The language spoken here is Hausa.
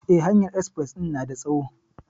Eh, hanyar espres din na da tsawo.